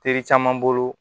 Teri caman bolo